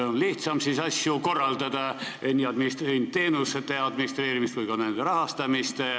Neil on lihtsam asju korraldada, nii teenuste administreerimist kui ka nende rahastamist.